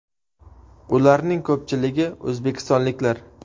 Ularning ko‘pchiligi o‘zbekistonliklar.